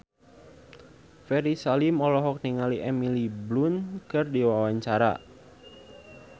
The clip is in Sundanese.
Ferry Salim olohok ningali Emily Blunt keur diwawancara